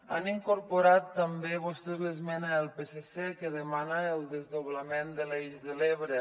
han incorporat també vostès l’esmena del psc que demana el desdoblament de l’eix de l’ebre